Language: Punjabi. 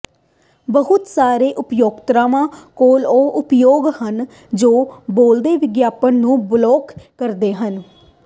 ਬਹੁਤ ਸਾਰੇ ਉਪਯੋਗਕਰਤਾਵਾਂ ਕੋਲ ਉਹ ਉਪਯੋਗ ਹਨ ਜੋ ਬੇਲੋੜੀ ਵਿਗਿਆਪਨ ਨੂੰ ਬਲੌਕ ਕਰਦੇ ਹਨ